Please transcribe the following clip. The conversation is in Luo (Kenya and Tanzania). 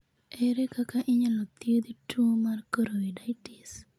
Ere kaka inyalo thiedh tuwo mar choroiditis?